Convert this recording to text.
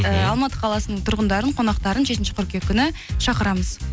эээ алматы қаласының тұрғындарын қонақтарын жетінші қыркүйек күні шақырамыз